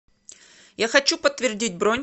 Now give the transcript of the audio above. я хочу подтвердить бронь